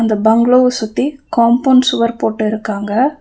பங்ளோவ சுத்தி காம்போண்ட் சுவர் போட்டு இருக்காங்க.